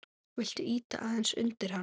Viltu ýta aðeins undir hana?